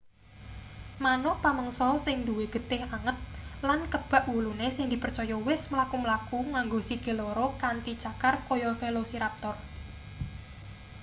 manuk pamangsa sing duwe getih anget lan kebak wulune sing dipercaya wis mlaku-mlaku nganggo sikil loro kanthi cakar kaya velociraptor